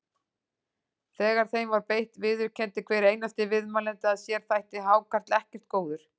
Þegar þeim var beitt viðurkenndi hver einasti viðmælandi að sér þætti hákarl ekkert góður.